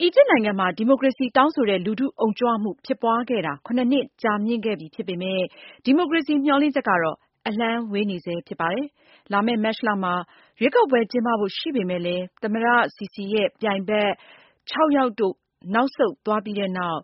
အီဂျစ်နိုင်ငံမှာ ဒီမိုကရေစီတောင်းဆိုတဲ့ လူထုအုံကြွမှု ဖြစ်ပွါးခဲ့တာ ၇ နှစ်ကြာမြင့်ခဲ့ပြီဖြစ်ပေမဲ့ ဒီမိုကရေစီမျှော်လင့်ချက်တော့ အလှမ်းဝေးနေဆဲဖြစ်ပါတယ်။ လာမယ့်မတ်လမှာ ရွေးကောက်ပွဲကျင်းပဖို့ ရှိပေမယ့်လဲ သမ္မတ Sisi ရဲ့ပြိုင်ဘက် ၆ ယောက်တို့ နောက်ဆုတ်သွားပြီးတဲ့နောက်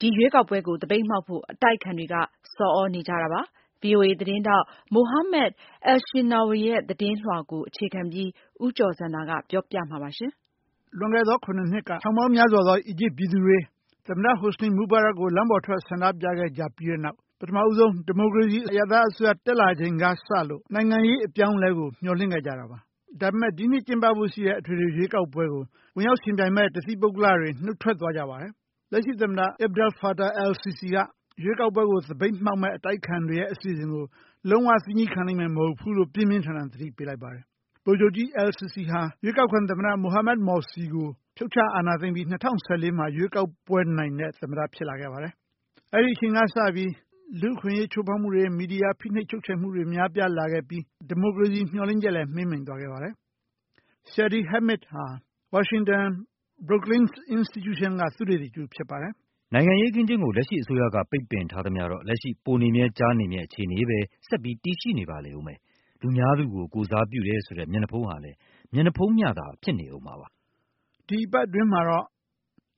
ဒီရွေးကောက်ပွဲကို သပိတ်မှောက်ဖို့ အတိုက်အခံတွေက ဆော်သြနေကြပါတယ်။ VOA သတင်းထောက် Mohamed Elshinnawi ရဲ့သတင်းလွှာကို အခြေခံပြီး ဦးကျော်ဇံသာက ပြောပြပါမယ်။ လွန်ခဲ့သော ၇ နှစ်က ထောင်ပေါင်းများစွာတော့ အီဂျစ်ပြည်သူတွေ သမ္မတ Hosni Mubarak ကို လမ်းပေါ်ထွက် ဆန္ဒပြပြီးကြတဲ့နောက် ပထမဆုံး ဒီမိုကရေစီ အရပ်သားအစိုးရ တက်လာချိန်ကစလို့ နိုင်ငံရေးအပြောင်းအလဲကို မျှော်လင့်ခဲ့ကြတာပါ ဒါပေမဲ့ ဒီနှစ်ကျင်းပဖို့ရှိတဲ့ အထွေထွေရွေးကောက်ပွဲကို ဝင်ရောက်ယှဉ်ပြိုင်မယ့် တသီးပုဂ္ဂလတွေ နှုတ်ထွက်သွားကြပါတယ်။ လက်ရှိသမ္မတ Abdel Fattah el- Sissi က ရွေးကောက်ပွဲကို သပိတ်မှောက်မယ့် အတိုက်အခံတွေရဲ့ အစီအစဉ်ကို လုံးဝ သည်းညည်းခံလိမ့်မယ်မဟုတ်ဘူးလို့ ပြင်းပြင်းထန်ထန် သတိပေးလိုက်ပါတယ်။ ဗိုလ်ချုပ်ကြီး el- Sissi ဟာ ရွေးကောက်ခံသမ္မတ Mohamed Morsi ကို ဖြုတ်ချ အာဏာသိမ်းပြီး ၂၀၁၄မှာရွေးကောက်ပွဲနိုင်တဲ့ သမ္မတဖြစ်လာခဲ့ပါတယ်။ အဲ့ဒီ့အချိန်ကစပြီး လူ့အခွင့်အရေးချိုးဖောက်မှုတွေ မီဒီယာဖိနှိပ်ချုပ်ချယ်မှုတွေ ပိုများပြားလာခဲ့ပြီး ဒီမိုကရေစီမျှော်လင့်ချက်လည်း မှေးမှီန်သွားခဲ့ပါတယ်။ Shadi Hamid ဟာ Washington Brookings Institution က သုတေသီ တဦးဖြစ်ပါတယ်။ "နိုင်ငံရေးအခင်းအကျင်းကို လက်ရှိအစိုးရက ပိတ်ပင်ထားသမျှတော့ လက်ရှိ ပိုနေမြဲ ကျားနေမြဲ အခြေအနေပဲ ဆက်လက်တည်ရှိနေပါလိမ့်အုံးမယ်။ လူများသူကိုကိုယ်စားပြုတယ်ဆိုတဲ မျက်နှာဖုံးဟာလဲ မျက်နှာဖုံးမျှသာ ဖြစ်နေအုံးမှာပါ။" ဒီသီတင်းပတ်အတွင်း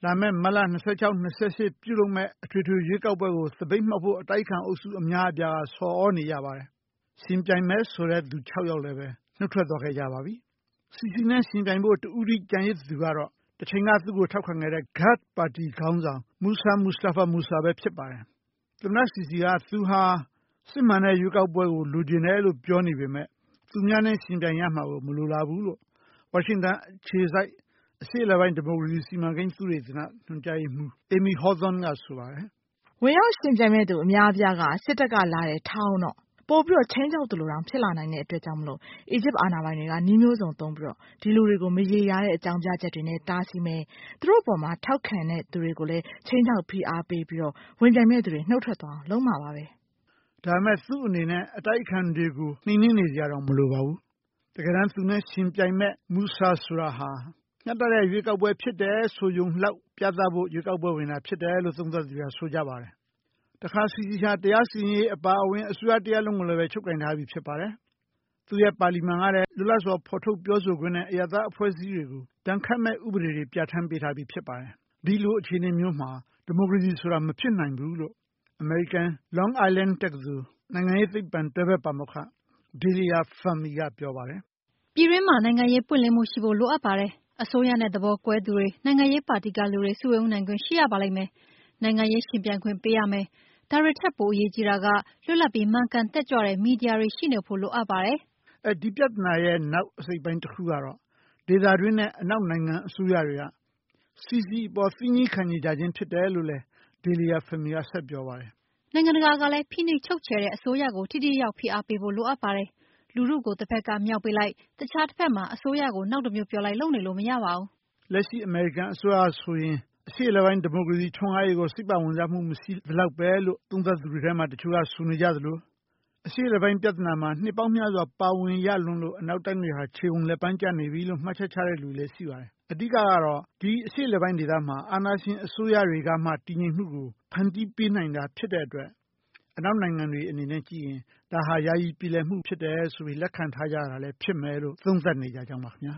လာမယ့် မတ်လ ၂၆-၂၈ မှာကျင်းပမယ့် အထွေထွေရွေးကောက်ပွဲ ကို သပိတ်မှောက်ဖို့ အတိုက်အခံအုပ်စုအများအပြားက ဆော်သြနေကြပါတယ်။ ယှဉ်ပြိုင်မယ်ဆိုတဲ့သူ ခြောက်ယောက်လည်းပဲ နှုတ်ထွက်သွားခဲ့ကြပါပြီ Sissi နဲ့ယှဉ်ပြိုင်ဖို့ တဦးတည်းကျန်ရစ်သူကတော့ တချိန်က သူ့ကိုထောက်ခံခဲ့တဲ့ Ghad ပါတီခေါင်းဆောင် Mousa Mustapha Mousa ဖြစ်ပါတယ်။ သမ္မတSissi က သူဟာ စစ်မှန်တဲ့ရွေးကောက်ပွဲကိုလိုချင်တယ်လို့ ပြောနေပေမဲ့ သူများနဲ့ယှဉ်ပြိုင်ရမှာကို မလိုလားဘူးလို့ ဝါရှင်တန်အခြေစိုက် အရှေ့အလယ်ပိုင်း ဒီမိုကရေစီ စီမံကိန်းသုတေသန ညွှန်ကြားရေးမှူးAmy Hawthorne က ဆိုပါတယ်။ "ဝင်ရောက်ယှဉ်ပြိုင်မယ့်သူ အများအပြားက စစ်တပ်ကလာတယ်ထားအုံးတော့ Sissiအနေအထားကို ပိုမို ခြိမ်းခြောက် သလိုတောင် ဖြစ်လာနိုင်တဲ့အတွက် အီဂျစ်အာဏာပိုင်တွေက နည်းမျိုးစုံသုံးပြီး ဒီလူတွေကို မရေမရာတဲ့အကြောင်းပြချက်တွေနဲ့ တားဆီးမယ်၊ သူတို့အပေါ် ထောက်ခံသူတွေကိုလဲ ခြိမ်းခြောက်ဖိအားပေးပြီး ဝင်မြိုင်မယ့်သူတွေနှုတ်ထွက်သွားအောင် လုပ်မှာပါပဲ။" ဒါပေမဲ့ သူ့အနေနဲ့ အတိုက်အခံတွေကို နှိမ်နှင်းနေစရာတောင် မလိုပါဘူး။ တကယ်တမ်းသူနဲ့ယှဉ်ပြိုင်မယ့်Mousa ဆိုတာဟာ မျှတတဲ့ရွေးကောက်ပွဲ ဖြစ်တယ်ဆိုရုံလောက် ပြသဖို့ ရွေးကောက်ပွဲဝင်တာဖြစ်တယ်လို့ သုံးသပ်သူတွေက ဆိုကြပါတယ်။ တခါ Sissi ဟာ တရားစီရင်ရေးအပါအဝင် တရားရုံးတခုလုံးကိုလည်း ချုပ်ကိုင် ထားပြီးဖြစ်ပါတယ်။ သူ့ရဲ့ပါလီမန်ကလည်း လွတ်လပ်စွာဖော်ထုတ်ပြောဆိုခွင့်နဲ့ အရပ်သားအဖွဲ့အစည်းတွေကို ဒဏ်ခတ်မယ့်ဥပဒေတွေကို ပြဌာန်းပေးပြီးဖြစ်ပါတယ်။ ဒီလိုအခြေအနေမျိုးမှာ ဒီမိုကရေစီဆိုတာ မဖြစ်နိုင်ဘူးလို့ အမေရိကန် Long Island တက္ကသိုလ် နိုင်ငံရေးသိပ္ပံ တွဲဖက်ပါမောက္ခDalia Fahmyက ပြောပါတယ်။ "ပြည်တွင်းမှာ နိုင်ငံရေးပွင့်လင်းမှုရှိဖိုလိုအပ်ပါတယ်။ အစိုးရနဲ့သဘောကွဲသူတွေ နိုင်ငံရေးပါတီကလူတွေ စုရုံးနိုင်ခွင့်ရှိရပါလိမ့်မယ်။ နိုင်ငံရေးယှဉ်ပြိုင်ခွင့်ပေးရမယ်။ ဒါတွေထက်ပိုအရေးကြီးတာက လွတ်လပ်ပြီးမှန်ကန်တက်ကြွတဲ့ မီဒီယာတွေရှီနေဖို့လိုအပ်ပါတယ်။" အဲ့ ဒီပြသနာရဲ့ နောက်အစိတ်အပိုင်းတခုကတော့ ဒေသတွင်းနဲ့ အနောက်နိုင်ငံ အစိုးရတွေက Sissiအပေါ် သည်းညည်းခံနေကြခြင်းဖြစ်တယ်လို့Dalia Fahmyက ဆက်ပြောပါတယ်။ "နိုင်ငံတကာကလဲ ဖိနှိပ်ချုပ်ချယ်တဲ့အစိုးရကို ထိထိရောက်ရောက် ဖိအားပေးဖို့ လိုအပ်ပါတယ်။ လူထုကိုတဖက်ကမြှောက်ပေးလိုက် အခြားတဖက်မှာ အစိုးရကိုနောက်တမျိုးပြောလိုက် လုပ်နေလို့မရပါဘူး။" လက်ရှိအမေရိကန်အစိုးရဟာဆိုရင် အရှေ့အလယ်ပိုင်းဒီမိုကရေစီထွန်းကားရေးကို စိတ်ပါဝင်စားမှု မရှိသလောက်ပဲလို့ သုံးသပ်သူတွေထဲ တချို့က ဆိုနေကြသလို အရှေ့အလယ်ပိုင်းပြသနာမှာ နှစ်ပေါင်းများစွာ ပါဝင်ရလွန်းလို့ အနောက်တိုင်းတွေဟာ ခြေကုန်လက်ပမ်းကျနေပြီလို့ မှတ်ချက်ချတဲ့သူတွေလည်း ရှိပါတယ်။ အဓိကကတော့ ဒီအရှေ့အလယ်ပိုင်းဒေသမှာ အာဏာရှင်အစိုးရတွေ ကမှ တည်ငြိမ်မှုကို ဖန်တီးပေးနိုင်တာဖြစ်တဲ့အတွက် အနောက်နိုင်ငံတွေအနေနဲ့က ကြည့်ရင် ဒါဟာ ယာယီပြေလည်မှုဖြစ်တယ်ဆိုပြီး လက်ခံထားကြတာလည်းဖြစ်မယ်လို့ သုံးသပ်နေကြကြောင်းပါခင်ဗျ